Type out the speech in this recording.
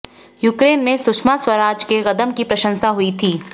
Ukraine में सुषमा स्वराज के कदम की प्रशंसा हुई थी